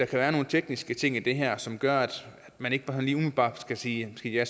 kan være nogle tekniske ting i det her som gør at man ikke bare sådan lige umiddelbart skal sige ja